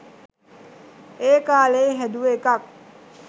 ඒකාලේ හැදුව එකක්.